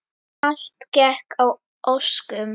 Allt gekk að óskum.